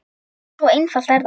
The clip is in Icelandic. Svo einfalt er það!